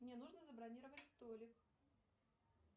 мне нужно забронировать столик